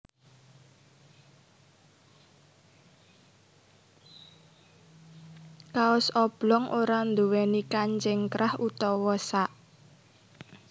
Kaos oblong ora nduwèni kancing krah utawa sak